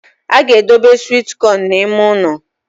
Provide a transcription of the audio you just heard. A ga-edobe sweet corn n’ime ụnọ